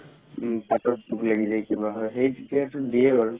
পাতত পোক লাগি যাই কিবা হয় সেই তেতিয়া সেইটো দিয়ে বাৰু